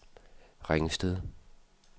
Ringsted